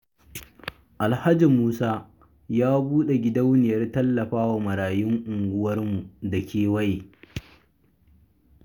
Alhaji Musa ya buɗe gidauniyar tallafawa marayun unguwar mu da kewaye.